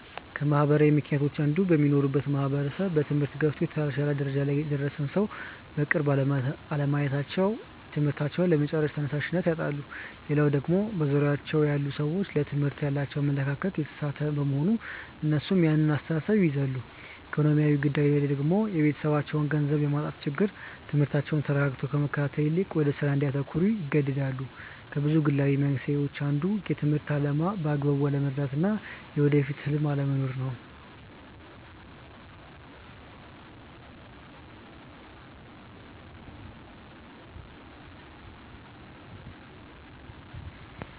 ከማህበራዊ ምክንያቶች አንዱ በሚኖሩበት ማህበረሰብ በትምህርት ገፍቶ የተሻለ ደረጃ ላይ የደረሰን ሰው በቅርብ አለማየታቸው ትምህርታቸውን ለመጨረስ ተነሻሽነት ያጣሉ። ሌላው ደግሞ በዙሪያቸው ያሉ ሰዎች ለትምህርት ያላቸው አመለካከት የተሳሳተ በመሆን እነሱም ያን አስተሳሰብ ይይዛሉ። ኢኮኖሚያዊ ጉዳይ ደግሞ የቤተሰባቸው ገንዘብ የማጣት ችግር ትምህርታቸውን ተረጋግቶ ከመከታተል ይልቅ ወደ ስራ እንዲያተኩሩ ይገደዳሉ። ከብዙ ግላዊ መንስኤዎች አንዱ የትምህርትን አላማ በአግባቡ አለመረዳት እና የወደፊት ህልም አለመኖር ነው።